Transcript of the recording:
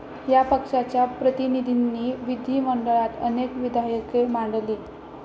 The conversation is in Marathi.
या पक्षाच्या प्रतिनिधींनी विधीमंडळात अनेक विधायके मांडली.